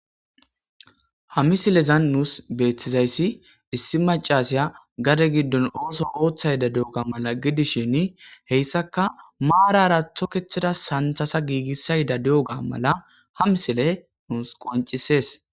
Ha misilezan nuus beetzayssi issi macasiya gade giddon ooso ooththayda de'ga mala gidishin heyssaka maarara thokethida santhasa giigissayda de'ga mala ha misile nuus qoncisees.